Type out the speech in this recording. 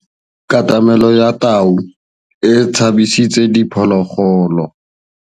Katamêlô ya tau e tshabisitse diphôlôgôlô.